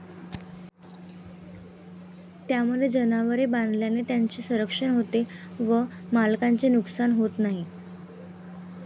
त्यामध्ये जनावरे बांधल्याने त्यांचे संरक्षण होते व मालकाचे नुकसान होत नाही.